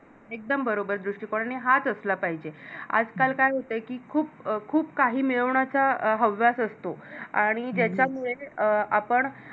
एकदम बरोबर दृष्टीकोण आणि हाच असला पाहिजे आज काल काय होतं की खूप खूप काही मिळवण्याच्या हव्यास असतो आणि ज्याच्यामूळे अं आपण